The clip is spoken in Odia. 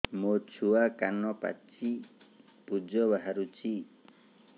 ମୋ ଛୁଆ କାନ ପାଚି ପୂଜ ବାହାରୁଚି